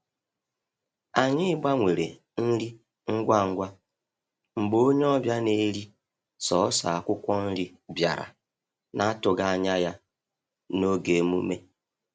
Anyị gbanwere nri ngwa ngwa mgbe onye ọbịa na-eri sọọsọ akwụkwọ nri bịara na-atụghị anya ya n’oge emume.